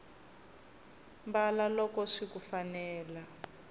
mbala loko swiku fanela